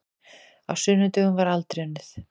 Á sunnudögum var aldrei unnið.